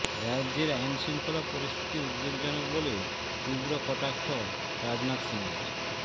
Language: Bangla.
রাজ্যের আইনশৃঙ্খলা পরিস্থিতি উদ্বেগজনক বলে তীব্র কটাক্ষ রাজনাথ সিংয়ের